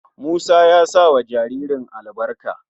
Musa ya sa wa jaririn albarka.